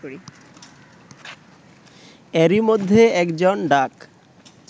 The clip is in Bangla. এরই মধ্যে একজন ডাক